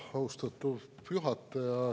Austatud juhataja!